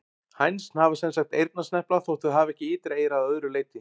Hænsn hafa sem sagt eyrnasnepla þótt þau hafi ekki ytra eyra að öðru leyti.